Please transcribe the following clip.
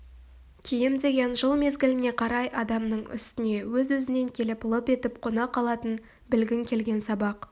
киім деген жыл мезгіліне қарай адамның үстіне өз-өзінен келіп лып етіп қона қалатын білгің келген сабақ